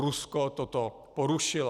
Rusko toto porušilo.